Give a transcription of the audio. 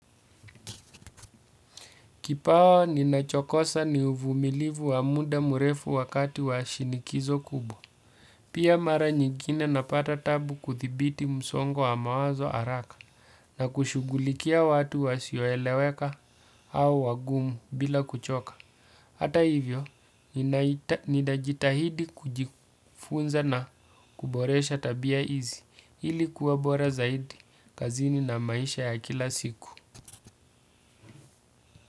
Kipawa ninachokosa ni uvumilivu wa muda mrefu wakati wa shinikizo kubwa. Pia mara nyingine napata taabu kudhibiti msongo wa mawazo haraka na kushughulikia watu wasioeleweka au wagumu bila kuchoka. Hata hivyo, nitajitahidi kujifunza na kuboresha tabia hizi ili kuwa bora zaidi kazini na maisha ya kila siku.